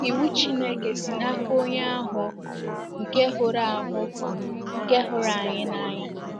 Iwu Chineke si n’aka Onye ahụ nke hụrụ ahụ nke hụrụ anyị n’anya.